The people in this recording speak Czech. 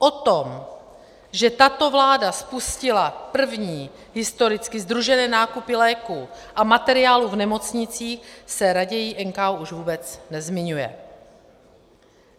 O tom, že tato vláda spustila první historicky sdružené nákupy léků a materiálů v nemocnicích, se raději NKÚ už vůbec nezmiňuje.